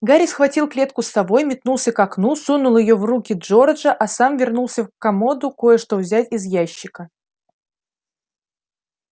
гарри схватил клетку с совой метнулся к окну сунул её в руки джорджа а сам вернулся к комоду кое-что взять из ящика